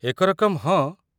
ଏକ ରକମ, ହଁ।